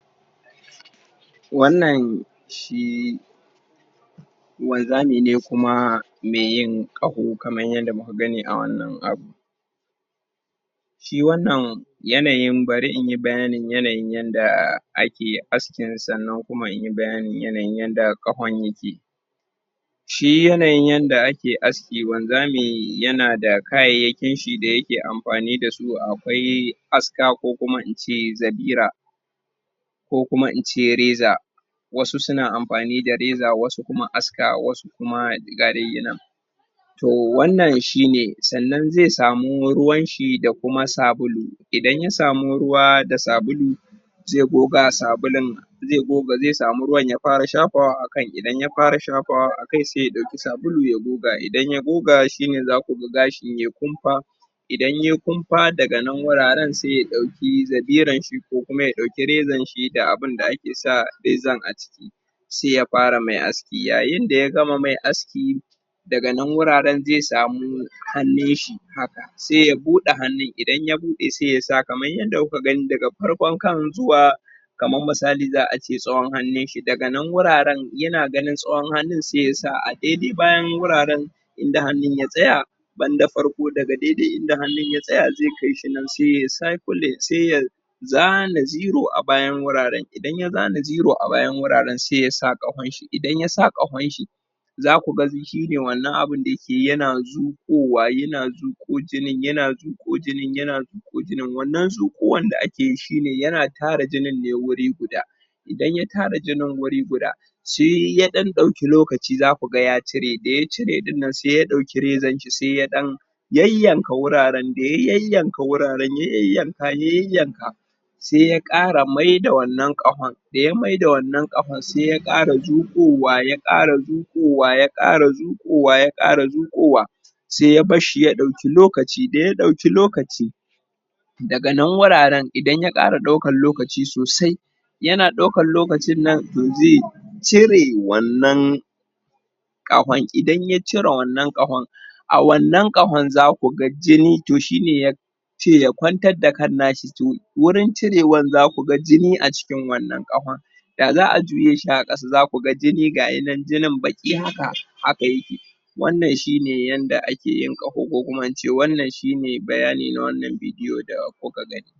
wannan shi wanzami ne kuma me yin qaho kamar yadda muka gani a wannan abu shi wannan yanayin bari in yi bayanin yanayin yadda ake askin sannan kuma inyi bayanin yanayin yadda qahon yake shi yanayin yadda ake aski wanzami yana da kayyayakin shi da yake amfani dasu akwai ask ako kuma in ce zabira ko kuma in ce reza wasu suna amfani da reza wasu kuma aska kuma ga daiyi nan to wannan shi ne sannan zai samu ruwanshi da kuma sabulu idan ya samu ruwa da sabulu zai goga sabulun zai goga zai samu ruwan ya fara shafawa a kai kai idan ya fara shafawa a kai zai dauki sabulu ya goga idan ya goga shine zaku ga gashi ye kumfa idan ye kumfa daga nan wuraren sai ya dauki zabiranshi ko kuma ya dauki reza da abunda ake sa zabiran a ciki sai ya fara mai aski yayin daya gama mai aski daganan wuraren zai samu hannunshi haka sai ya bude hannun idan ya bude hannun sai ya sa kamar yadda kuka gani daga farkon kan zuwa kamar misali zaace tsawon hannunshi daga nan wuraren yana ganin tsawon hannu sai ya sa a daidai bayan wuraren inda hannun ya tsaya banda farko daga daidai inda hannun ya tsaya zai kaishi nan sai ye cycle sai ya zana zero a bayan wuraren idan ya zana zero a bayan wuraren sai ya sa qahon shi idan ya sa qahon shi zaku ga shine wannan abun da yake yana zu qowa yana zuko jinin yana zuqo jinin yana zuqo jinin wannan zuqo wan da akeyi shine yana tara jinin ne wuri guda idan ya tara jinin wuri guda sai ya dan dauki lokaci zaku ga ya cire da ya cire din nan sai ya dauki rezanshi sai ya dan yayyanka wuraren da ya yayyanka wuraren ya yayyanka ya yayyanka sai ya kara maida wannan qahon da ya maida wannan qahon sai ya kara zu qowa ya kara zuqowa ya kara zuqowa ya kara zuqowa sai ya barshi ya dauki lokaci daya dauki lokaci daga nan wuraren idan ya kara daukan lokaci sosai yana daukan lokacin nan to zai cire wannan qahon idan ya cire wannan qahon a wannan qahon zaku ga jini to shine ya ce ya kwantar da kan nashi to wurin cirewan zaku ga jini a cikin wannan qahon da zaa juye shi a kasa zaku ga jini ga yi nan jini baqi haka haka yake wannan shine yanayin yadda akeyin qaho ko kuma in ce wannan shine bayani na wannan bidiyo da kuka gani